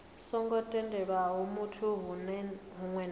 songo tendelwaho fhethu hunwe na